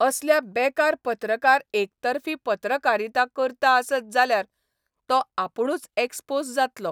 असल्या बेक़ार पत्रकार एकतर्फी पत्रकारिता करता आसत जाल्यार तो आपूणच एक्स्पोझ जातलो.